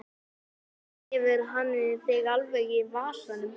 Eða hefur hann þig alveg í vasanum?